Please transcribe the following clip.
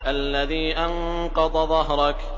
الَّذِي أَنقَضَ ظَهْرَكَ